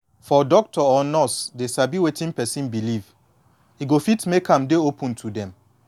for doctor or nurse dey sabi wetin person believe e go fit make am dey open to dem